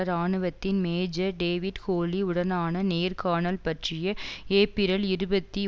இராணுவத்தின் major David Holly உடனான நேர்காணல் பற்றிய ஏப்பிரல் இருபத்தி